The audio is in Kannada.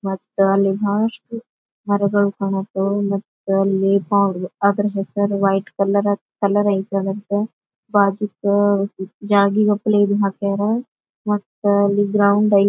ಮತ್ತ ಅಲ್ಲಿ ಬಹಳಷ್ಟು ಮರಗಳು ಕಾಣತ್ತೆ ಮತ್ತ್ ಅಲ್ಲಿ ಅದರ ಹೆಸರ ವೈಟ್ ಕಲರ್ ಕಲರ್ ಐಯ್ಟ್ ಅದರ್ದ ಬಾಜಾಕ್ ಜಾಳ್ಗಿ ಗಫ್ಲಿ ಹಾಕ್ಯಾರ. ಮತ್ತ ಅಲ್ಲಿ ಗ್ರೌಂಡ್ ಐ--